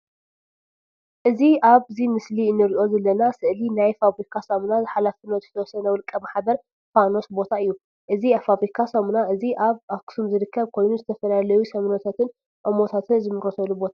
እዚ ኣብዚ ምስሊ እንርእዩ ዘለና ስእሊ ናይ ፋብሪካ ሳሙና ሓ.ዝ.ው. ማሕበር ፋኖስ ቦታ እዩ። እዚ ፋብሪካ ሳሙና እዚ ኣብ ኣክሱም ዝርከብ ኮይኑ ዝተፈላለዩ ሳሙናታትን ኦሞታትን ዝምረተሉ ቦታ እዩ።